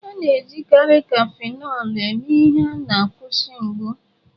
A na-ejikarị Cafịnọlụ eme ihe na a nkwụsị mgbu.